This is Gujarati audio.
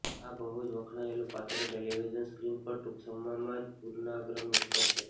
આ બહુ જ વખણાયેલું પાત્ર ટેલિવિઝન સ્ક્રીન પર ટૂંક સમયમાં જ પુનરાગમન કરશે